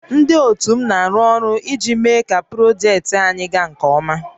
Ndị ótù m na-arụ ọrụ iji méé kà projektị anyị gaa nkè ọma